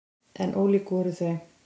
En ólík voru þau.